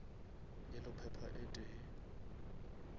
yellow pepper e tee